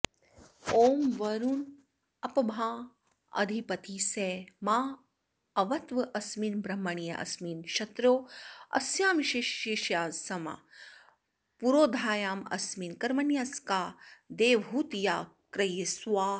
ॐ वरुणोऽपामधिपतिः स माऽवत्वस्मिन् ब्रह्मण्यस्मिन् क्षत्रोऽस्यामाशिष्यस्यां पुरोधायामस्मिन् कर्मण्यस्यां देवहूत्याकृ स्वाहा